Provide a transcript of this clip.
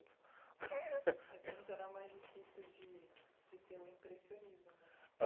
Antes era mais difícil de de ter o impressionismo, né